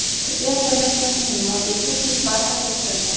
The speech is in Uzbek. Tibbiyot birlashmasining moddiy texnik bazasi eskirgan.